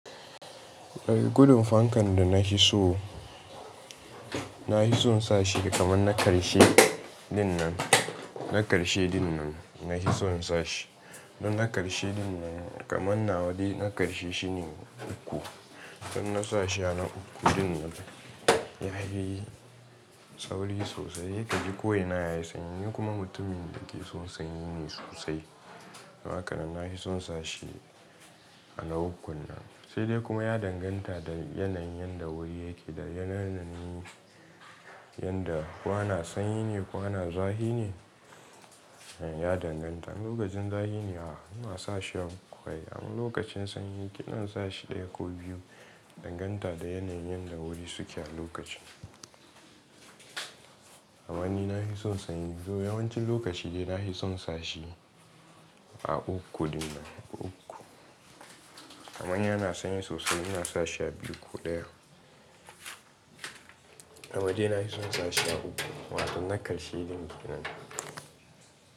Ɗar gudun fankan da na hi so, na hi son sa shi kaman na ƙarshe dinnan, na ƙarshe dinnan na hi son sa shi. Don na ƙarshe dinnan kaman na wade na ƙarshe shine uku. Idon na sa shi a na uku dinnan ya hi sauri sosai. Kaji koina ya yi sanyi nikuma mutumin da ke son sanyi ne sosai. Haka nan na hi son sa shi a na ukun nan. Sai dai kuma ya danganta da yanayin yanda wuri yake da yanayin yanda ko ana sanyi ne ko ana zahi ne, ya danganta. In lokacin zaflhi ne ma, ina sa shi a uku ai. Amma lokacin sanyi ki ina sa shi ɗaya ko biyu danganta da yanayin yanda wuri suke a lokacin. Aman ni na hi son sanyi, to yawancin lokaci dai na hi son sa shi a uku dinnan uku. Amman yana sanyi sosai ina sa shi a biyu ko ɗaya. Amade na hi son sa shi a uku wato na ƙarshe dinnan.